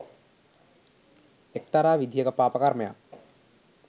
එක්තරා විදිහක පාප කර්මයක්.